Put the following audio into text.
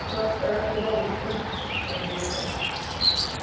É só pegar, cruzar o rio, está dentro da avenida para lá.